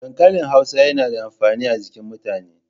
Dankalin Hausa yana da amfani a jikin mutane.